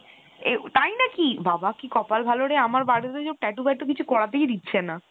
এর তাই নাকি ? বাবা কি কপাল ভালো রে আমার বাড়িতে তো tattoo ফ্যাটু কিছু করাতেই দিচ্ছে না